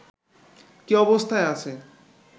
কী অবস্থায় আছে